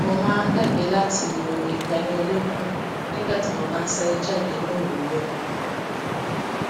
mo máa ń gbàgbé láti lo ìtayín olókùn nígbà tí mo bá ń sáré jáde ní òwúrò